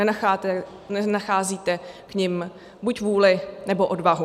Nenacházíte k nim buď vůli, nebo odvahu.